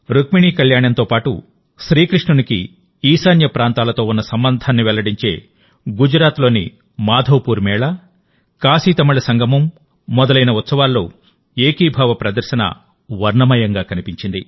రుక్మిణీ కళ్యాణంతో పాటుశ్రీకృష్ణునికి ఈశాన్య ప్రాంతాలతో ఉన్న సంబంధాన్ని వెల్లడించే గుజరాత్లోని మాధవపూర్ మేళా కాశీతమిళ సంగమం మొదలైన ఉత్సవాల్లో ఏకీభావ ప్రదర్శన వర్ణమయంగా కనిపించింది